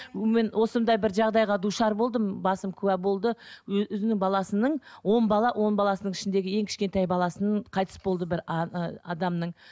мен осындай бір жағдайға душар болдым басым куә болды өзінің баласының он бала он баласының ішіндегі ең кішентай баласының қайтыс болды бір ы адамның